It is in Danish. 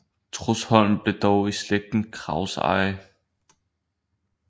Trudsholm blev dog i slægten Krags eje